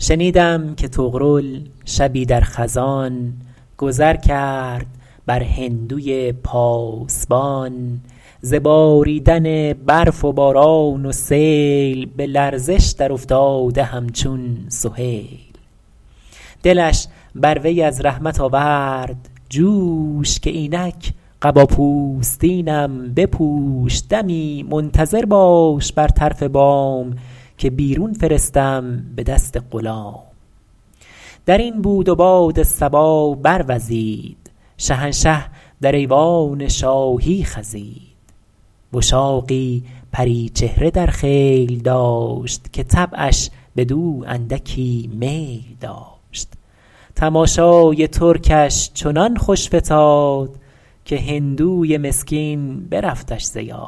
شنیدم که طغرل شبی در خزان گذر کرد بر هندوی پاسبان ز باریدن برف و باران و سیل به لرزش در افتاده همچون سهیل دلش بر وی از رحمت آورد جوش که اینک قبا پوستینم بپوش دمی منتظر باش بر طرف بام که بیرون فرستم به دست غلام در این بود و باد صبا بروزید شهنشه در ایوان شاهی خزید وشاقی پری چهره در خیل داشت که طبعش بدو اندکی میل داشت تماشای ترکش چنان خوش فتاد که هندوی مسکین برفتش ز یاد